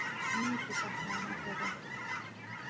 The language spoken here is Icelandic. Mikið saknaði hann þeirra.